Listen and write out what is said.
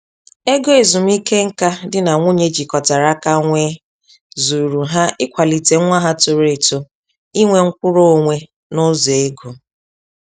Ego ezumiike nka di na nwunye jikọtara aka nwee zuuru ha ịkwalite nwa ha toro eto inwe mkwụrụ-onwe nụzọ ego.